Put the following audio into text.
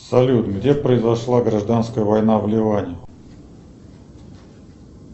салют где произошла гражданская война в ливане